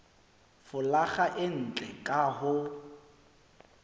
folaga e ntle ka ho